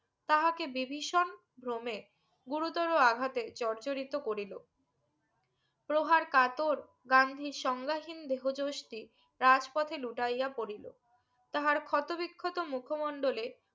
তাহাকে বিভীষণ ভ্রমে গুরুতর আঘাতে জর্জরিত করিলো প্রহার কাতর গান্ধীর সঙ্গাহীন দেহ যোশ রাজ পথে লুটাইয়া পরিলো তাহার ক্ষত বিক্ষত মুখো মন্ডলে